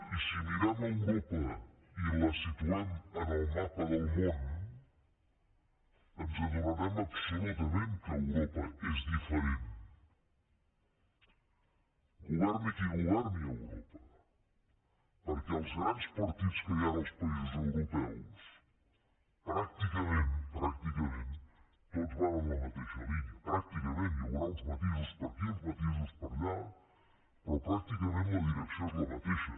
i si mirem europa i la situem en el mapa del món ens adonarem absolutament que europa és diferent governi qui governi europa perquè els grans partits que hi han als països europeus pràcticament tots van en la mateixa línia pràcticament hi haurà uns matisos per aquí uns matisos per allà però pràcticament la direcció és la mateixa